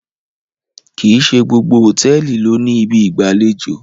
kín ṣe gbogbo hotẹẹli ló ní Ibi ìgbàlejò i.